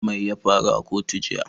Mai ya faru a kotu jiya?